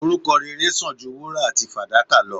Orúkọ rere san ju wúrà àti fàdákà lo